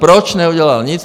Proč neudělala nic?